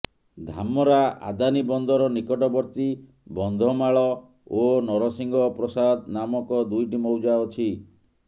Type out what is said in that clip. ଧାମରା ଆଦାନୀ ବନ୍ଦର ନିକଟବର୍ତ୍ତୀ ବନ୍ଧମାଳ ଓ ନରସିଂହ ପ୍ରସାଦ ନାମକ ଦୁଇଟି ମୌଜା ଅଛି